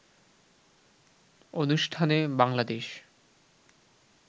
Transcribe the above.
অনুষ্ঠানে বাংলাদেশ